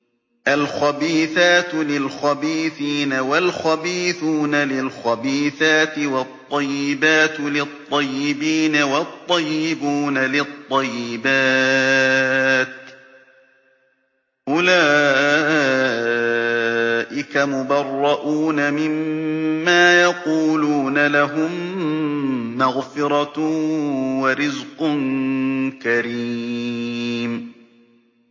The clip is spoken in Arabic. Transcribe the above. الْخَبِيثَاتُ لِلْخَبِيثِينَ وَالْخَبِيثُونَ لِلْخَبِيثَاتِ ۖ وَالطَّيِّبَاتُ لِلطَّيِّبِينَ وَالطَّيِّبُونَ لِلطَّيِّبَاتِ ۚ أُولَٰئِكَ مُبَرَّءُونَ مِمَّا يَقُولُونَ ۖ لَهُم مَّغْفِرَةٌ وَرِزْقٌ كَرِيمٌ